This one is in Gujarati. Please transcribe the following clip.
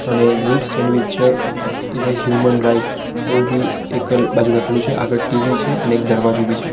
અને good sandwich is a human right એવું બી એક બાજુ લખેલું છે અને આગળ ટી_વી છે અને એક દરવાજો બી છે.